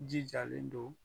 Jijalen don